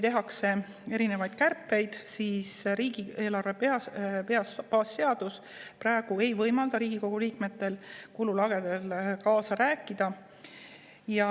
Praegune riigieelarve baasseadus ei võimalda Riigikogu liikmetel kululagede koha pealt kaasa rääkida.